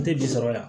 N tɛ bi sɔrɔ yan